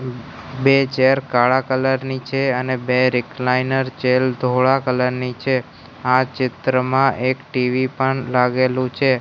બે ચૅર કાળા કલર ની છે અને બે રિકલાઈનર ચૅર ધોળા કલર ની છે આ ચિત્રમાં એક ટી_વી પણ લાગેલુ છે.